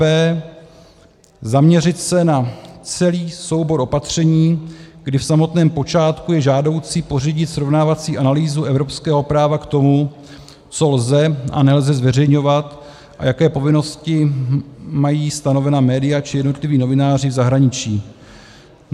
b) Zaměřit se na celý soubor opatření, kdy v samotném počátku je žádoucí pořídit srovnávací analýzu evropského práva k tomu, co lze a nelze zveřejňovat a jaké povinnosti mají stanovena média či jednotliví novináři v zahraničí;